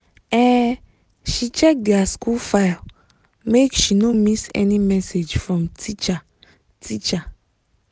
um she check their school file make she no miss any message from teacher teacher